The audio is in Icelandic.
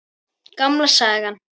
Gamla sagan.